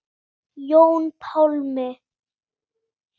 Jón Pálmi.